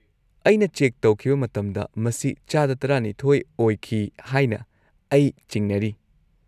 -ꯑꯩꯅ ꯆꯦꯛ ꯇꯧꯈꯤꯕ ꯃꯇꯝꯗ ꯃꯁꯤ ꯆꯥꯗ ꯱꯲% ꯑꯣꯏꯈꯤ ꯍꯥꯏꯅ ꯑꯩ ꯆꯤꯡꯅꯔꯤ꯫